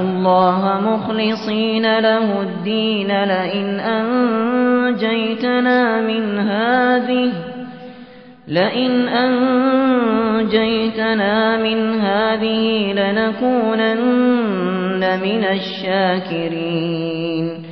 اللَّهَ مُخْلِصِينَ لَهُ الدِّينَ لَئِنْ أَنجَيْتَنَا مِنْ هَٰذِهِ لَنَكُونَنَّ مِنَ الشَّاكِرِينَ